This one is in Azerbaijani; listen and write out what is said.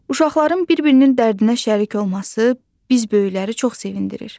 Uşaqların bir-birinin dərdinə şərik olması bizi böyükləri çox sevindirir.